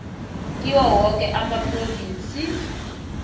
kiwo woke amaphrovinsi